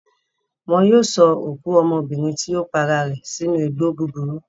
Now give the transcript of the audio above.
Wọn yóò sọ òkú ọmọbìnrin tí ó para rẹ̀ sínú igbó búburú.